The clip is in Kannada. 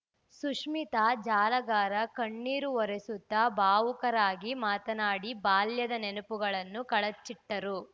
ಸುಶ್ಮೀತಾ ಜಾಲಗಾರ ಕಣ್ಣೀರು ಒರೆಸುತ್ತಾ ಭಾವುಕರಾಗಿ ಮಾತನಾಡಿ ಬಾಲ್ಯದ ನೆನಪುಗಳನ್ನು ಕಳಚಿಟ್ಟರು